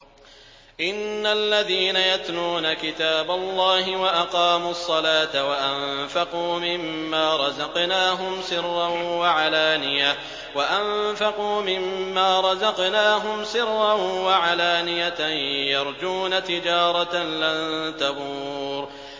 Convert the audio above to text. إِنَّ الَّذِينَ يَتْلُونَ كِتَابَ اللَّهِ وَأَقَامُوا الصَّلَاةَ وَأَنفَقُوا مِمَّا رَزَقْنَاهُمْ سِرًّا وَعَلَانِيَةً يَرْجُونَ تِجَارَةً لَّن تَبُورَ